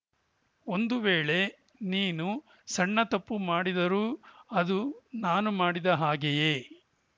ಒಂದು ವೇಳೇ ನೀನು ಸಣ್ಣ ತಪ್ಪು ಮಾಡಿದರೂ ಅದು ನಾನು ಮಾಡಿದ ಹಾಗೆಯೇ